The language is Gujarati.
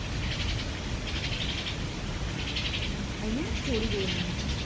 અહિયાં છોડી દેવાનું છે.